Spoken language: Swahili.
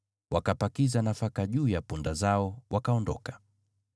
wakapakiza nafaka juu ya punda zao, wakaondoka.